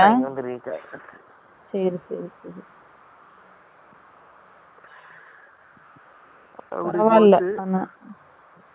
அப்டியே